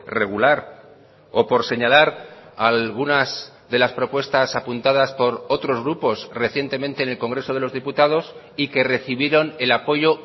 regular o por señalar algunas de las propuestas apuntadas por otros grupos recientemente en el congreso de los diputados y que recibieron el apoyo